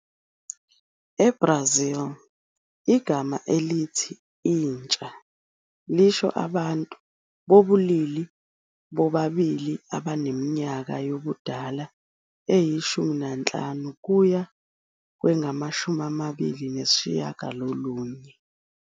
EBrazil, igama elithi "intsha" lisho abantu bobulili bobabili abaneminyaka yobudala eyi-15 kuye kwengama-29.